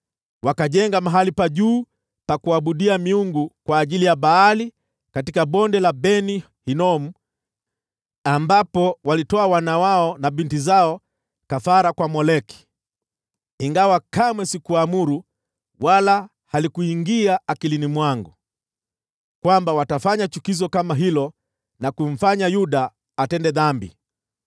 Wakajenga mahali pa juu pa kuabudia miungu kwa ajili ya Baali katika Bonde la Ben-Hinomu, ambapo walitoa wana wao na binti zao kafara kwa Moleki, ingawa kamwe sikuamuru, wala halikuingia akilini mwangu, kwamba watafanya chukizo kama hilo na kumfanya Yuda atende dhambi.